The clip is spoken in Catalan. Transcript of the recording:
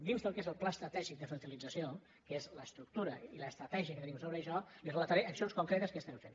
dins del que és el pla estratègic de fertilització que és l’estructura i l’estratègia que tenim sobre això li relataré accions concretes que estem fent